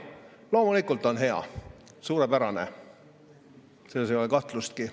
Loomulikult on hea, suurepärane, selles ei ole kahtlustki.